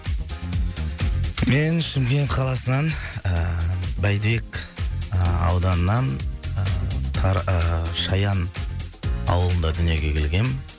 мен шымкент қаласынан ііі байбек ыыы ауданынан ыыы ыыы шаян ауылында дүниеге келгем